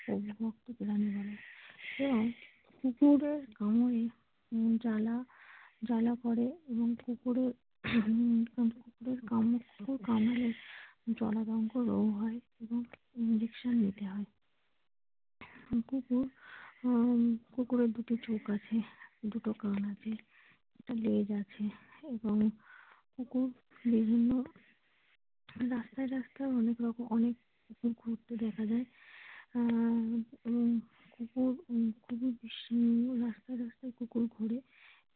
এবং কুকুর বিভিন্ন রাস্তায় রাস্তায় অনেক কুকুর ঘুরতে দেখা যায় আহ কুকুর রাস্তায় রাস্তায় কুকুর ঘোরে।